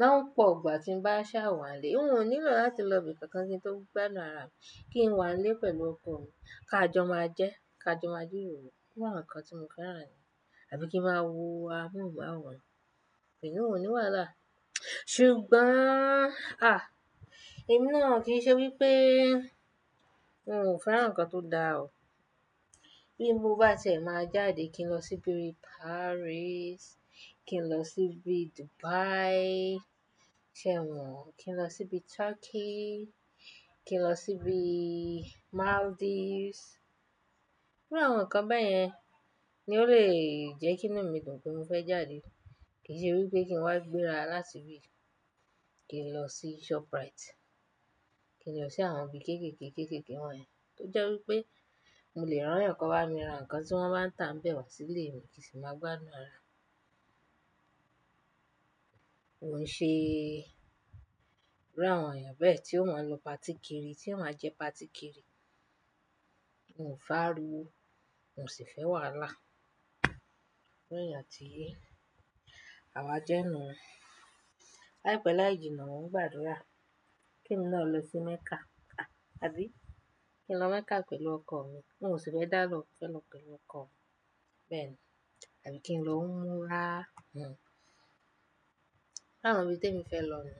Lo pọ̀ ìgbà tí ń bá sá wà nílé, n ò nílò láti lọ ibi kankan kí n tó gbádùn ara mi. Kí n wà nílé pẹ̀lú ọkọ mi ká jọ máa jẹ́ ká jọ máa jiroro. Nǹkan tí mo fẹ́ràn ni. Àbí kí n máa wo amóhùnmáwòrán. Iyin ò ní wàhálà. Ṣùgbọ́n, ah! Ẹ̀mí náà kì í ṣe wípé n ò fẹ́ràn nǹkan tó dára o. Bí mo bá sì máa jáde kí n lọ sí bii Paris, kí n lọ sí bii Dubai, ṣé mo, kí n lọ sí bii Turkey, kí n lọ sí bii Maldives. Iru àwọn nǹkan bẹ́ẹ̀ yẹn ni ó lè jẹ́ kí inú mi dùn pé mo fẹ́ jáde. Kì n ṣe wípé kí n wá gbéra láti ibi, kí n lọ sí Shoprite, kí n lọ sí àwọn ibi kéékèèké, kéékèèké wọ́n yẹn tó jẹ́ wípé mo lè rán yànkan bá mi ra nǹkan tí wọ́n bá ń tà ń bẹ wá sílé mi kì í sì máa gbádùn ara. Ko n ṣe iru àwọn èèyàn bẹ́ẹ̀ tí ó máa lo party kiri, tí ó máa ń jẹ party kiri. N ò fe ariwo, n ò sì fẹ́ wàhálà. Iru èèyàn ti, àwa jẹ́ ẹnu. Láìpẹ́ láì jìnnà mon ń gbàdúrà kí ẹn náà lọ sí Mecca. Ah! Àbí? Kí n lọ Mecca pẹ̀lú ọkọ mi. N ò sì fẹ́ dá lọ, mo fẹ́ lọ pẹ̀lú ọkọ mi bẹ́ẹ̀ni. Àbí kí n lọ umra? Hhm. Iru àwọn ibi tí èmi fẹ́ lọ ni.